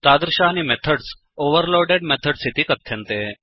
तादृशानि methods overloaded methods इति कथ्यन्ते